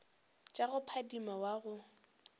tša go phadima wa go